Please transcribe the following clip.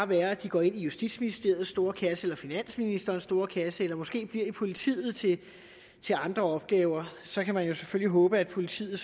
være at de går i justitsministeriets store kasse eller finansministerens store kasse eller måske bliver i politiet til til andre opgaver så kan man selvfølgelig håbe at politiet